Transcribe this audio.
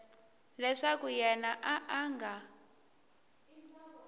leswaku yena a a nga